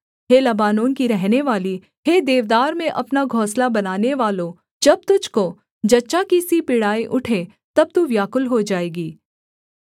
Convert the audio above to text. हे Lebanon की रहनेवाली हे देवदार में अपना घोंसला बनानेवालो जब तुझको जच्चा की सी पीड़ाएँ उठें तब तू व्याकुल हो जाएगी